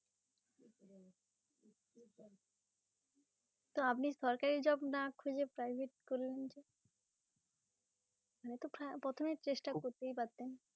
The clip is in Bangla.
তা আপনি সরকারি job না খুঁজে private করলেন যে প্রথমে চেষ্টা করতেই পারতেন।